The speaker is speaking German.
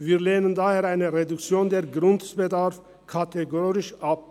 Wir lehnen daher eine Reduktion des Grundbedarfs kategorisch ab.